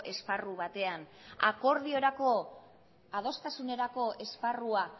esparru batean akordiorako adostasunerako esparrua